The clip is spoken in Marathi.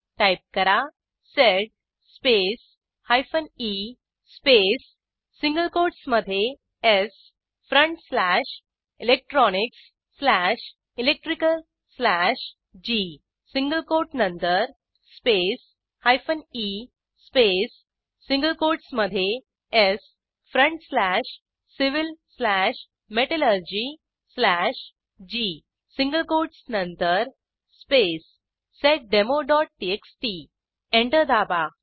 टाईप करा sed space hyphen e space single कोटसमधे s front slash electronics slash electrical slash g single quote नंतर space hyphen e space single कोटसमधे s front slash civil slash metallurgy slash g single quotes नंतर स्पेस seddemoटीएक्सटी एंटर दाबा